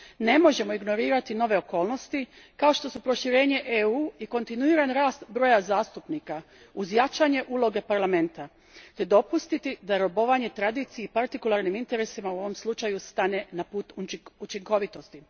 Ne možemo ignorirati nove okolnosti, kao što su proširenje EU i kontinuiran rast broja zastupnika, uz jačanje uloge Parlamenta te dopustiti da robovanje tradiciji i partikularnim ineteresima u ovom slučaju stane na put učinkovitosti.